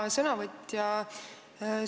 Hea sõnavõtja!